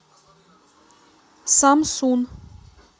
самсун